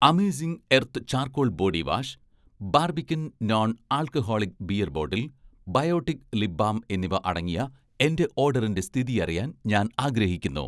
amazing Earth charcoal body wash, Barbican non alcoholic beer bottle, Biotique lip balm എന്നിവ അടങ്ങിയ എന്‍റെ ഓഡറിന്‍റെ സ്ഥിതി അറിയാൻ ഞാൻ ആഗ്രഹിക്കുന്നു